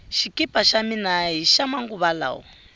xikipa xa mina hixa manguva lawa